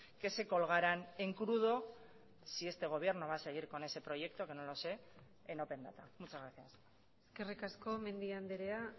que se colgaran en crudo si este gobierno va a seguir con ese proyecto que no lo sé en open data muchas gracias eskerrik asko mendia andrea